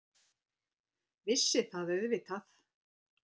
Vissi það auðvitað.